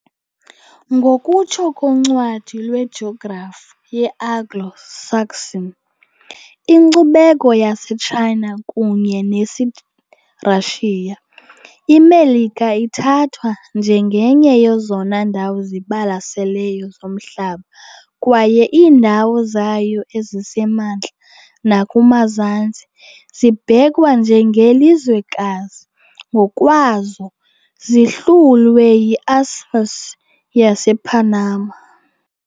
Ngokutsho koncwadi lwejografi ye-Anglo-Saxon, inkcubeko yaseTshayina kunye nesiRashiya, iMelika ithathwa njengenye yezona ndawo zibalaseleyo zomhlaba kwaye iindawo zayo ezisemantla nakumazantsi zibhekwa njengelizwekazi ngokwazo, zihlulwe yi-Isthmus yasePanama.